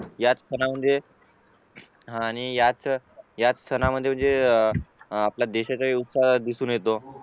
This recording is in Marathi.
याच सणामध्ये हा आणि याच सणामध्ये म्हणजे आपल्या देशाचा विकास दिसून येतो